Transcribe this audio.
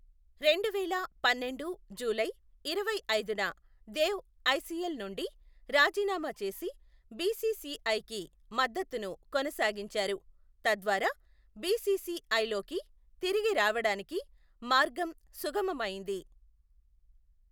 రెండువేల పన్నెండు జూలై ఇరవైఐదున దేవ్ ఐసీఎల్ నుండి రాజీనామా చేసి, బీసీసీఐకి మద్దతును కొనసాగించారు, తద్వారా బీసీసీఐలోకి తిరిగి రావడానికి మార్గం సుగమమయ్యింది.